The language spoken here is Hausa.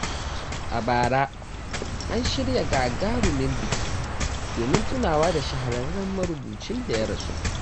A bara, an shirya gagarumin biki don tunawa da shahararren marubucin da ya rasu.